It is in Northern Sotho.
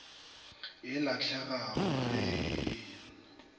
e lahlegago ge go ena